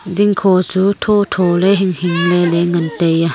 dingkho chu thotho ley hinghing leley ngan taiya.